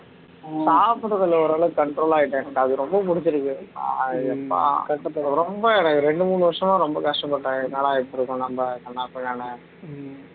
சாப்பிடுறதுல ஓரளவு control ஆகிட்டேன் அது ரொம்ப புடிச்சிருக்குது ரொம்ப எனக்கு ரெண்டு மூணு வருஷமா ரொம்ப கஷ்டப்பட்டேன் என்னடா இப்படி இருக்கோம் நம்ம கண்ணாபிண்னான்னு